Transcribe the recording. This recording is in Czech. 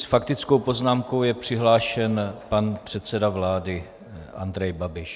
S faktickou poznámkou je přihlášen pan předseda vlády Andrej Babiš.